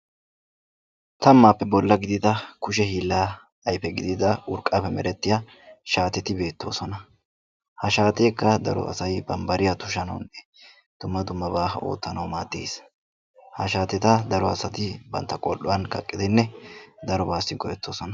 tammappe bollaa gidida kushe hiila ayfe gidiyaa shaateti beettoosona, ha shaatekka daro asay bambbariyaa tushanawunne dumma dummaba oottanaw maadees; ha shaateta daro asati bantta qol"uwan kaqqidi darobassi o'ettoosona,